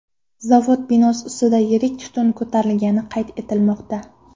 Zavod binosi ustida yirik tutun ko‘tarilgani qayd etilmoqda.